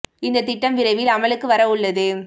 இந்த திட்டம் விரைவில் அமலுக்கு வர உள்ளது